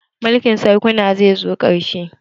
Mulkin sarkuna zai zo ƙarshe